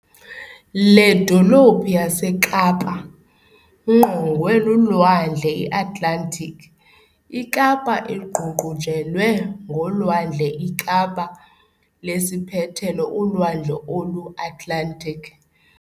Le dolophu yaseKapa ngqongwe lulwandle I-Atlantic ikapa iququnjelwe ngolwandleiKapa lesiiphethelo ulwandle oluAtlantic.